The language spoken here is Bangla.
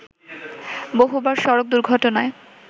বহুবার সড়ক দুর্ঘটনায়